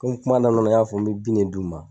Komi kuma daminɛ na n y'a fɔ n be bin ne d'u ma